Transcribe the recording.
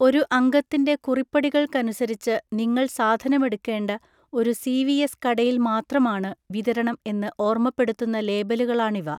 ഒരു അംഗത്തിൻ്റെ കുറിപ്പടികൾക്കനുസരിച്ച് നിങ്ങൾ സാധനം എടുക്കേണ്ട ഒരു സി വി എസ് കടയിൽ മാത്രമാണ് വിതരണം എന്ന് ഓർമ്മപ്പെടുത്തുന്ന ലേബലുകളാണിവ.